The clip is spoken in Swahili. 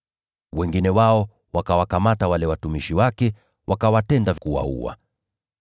Wengine wao wakawakamata wale watumishi wake, wakawatesa na kuwaua.